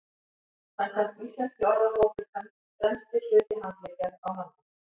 samkvæmt íslenskri orðabók er hönd „fremsti hluti handleggjar á manni